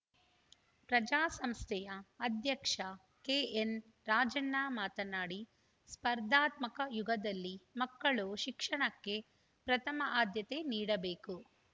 ಪ್ರಜ್ಞಾ ಸಂಸ್ಥೆಯ ಅಧ್ಯಕ್ಷ ಕೆಎನ್‌ ರಾಜಣ್ಣ ಮಾತನಾಡಿ ಸ್ಪರ್ಧಾತ್ಮಕ ಯುಗದಲ್ಲಿ ಮಕ್ಕಳು ಶಿಕ್ಷಣಕ್ಕೆ ಪ್ರಥಮ ಆದ್ಯತೆ ನೀಡಬೇಕು